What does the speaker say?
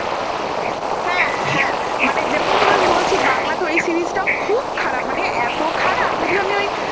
হাঁ হাঁ মানে যেমন তুমি বলছি বাংলাতে ওই series টাও খুব খারাপ মানে এত খারাপ যদিও আমি ওই